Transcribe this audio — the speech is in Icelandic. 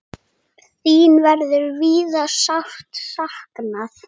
Þín verður víða sárt saknað.